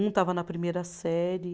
Um estava na primeira série.